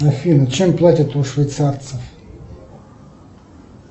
афина чем платят у швейцарцев